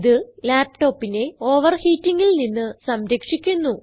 ഇത് laptopനെ overheatingൽ നിന്ന് സംരക്ഷിക്കുന്നു